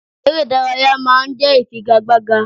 Eré ìdárayá ma ń jẹ́ ìfigagbága.